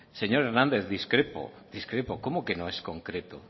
señor hernández discrepo discrepo cómo que no es concreto